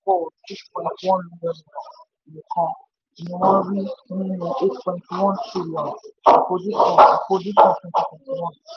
nairametrics jábọ́: six point one m nìkan ni wọ́n rí nínú eight point one trillion àfojúsùn àfojúsùn twenty twenty one.